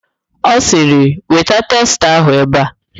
Ọ sịrị, weta testa ahụ ebe a!